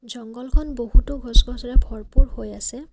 জংগলখন বহুতো গছ গছনিৰে ভৰপূৰ হৈ আছে।